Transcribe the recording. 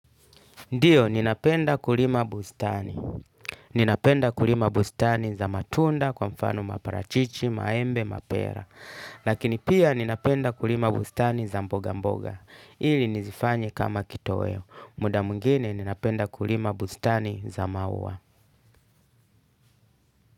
Ndiyo, ninapenda kulima bustani. Ninapenda kulima bustani za matunda kwa mfano maparachichi, maembe, mapera. Lakini pia ninapenda kulima bustani za mboga mboga. Ili nizifanye kama kitoweo. Muda mwingine ninapenda kulima bustani za maua.